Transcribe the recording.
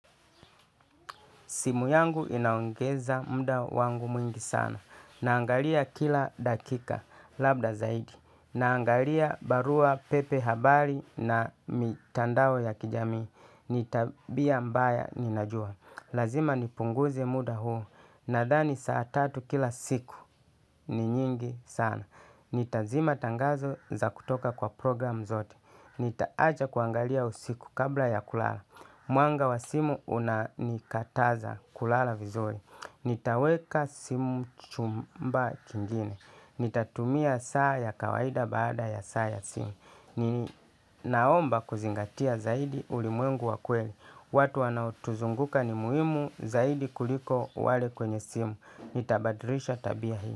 Simu yangu inaongeza muda wangu mwingi sana. Naangalia kila dakika labda zaidi. Naangalia barua pepe habari na mitandao ya kijami. Ni tabia mbaya ninajua. Lazima nipunguze muda huo. Nadhani saa tatu kila siku ni nyingi sana. Nitazima tangazo za kutoka kwa program zote. Nita acha kuangalia usiku kabla ya kulala. Mwanga wa simu unanikataza kulala vizur. Nitaweka simu chumba chingine. Nitatumia saa ya kawaida baada ya saa ya simu. Ninaomba kuzingatia zaidi ulimwengu wa kweli. Watu wanaotuzunguka ni muhimu zaidi kuliko wale kwenye simu. Nita badilisha tabia hii.